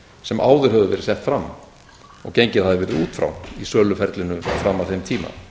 sem áður höfðu verið sett fram og gengið hafði verið út frá í söluferlinu fram að þeim tíma